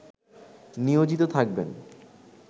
নিয়োজিত থাকবেন